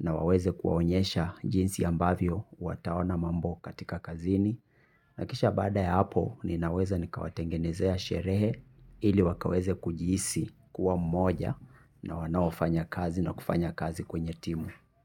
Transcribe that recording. na waweze kuwaonyesha jinsi ambavyo wataona mambo katika kazini. Na kisha baada ya hapo ninaweza nikawatengenezea sherehe ili wakaweze kujihisi kuwa mmoja na wanaofanya kazi na kufanya kazi kwenye timu.